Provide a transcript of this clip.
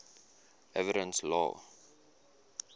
evidence law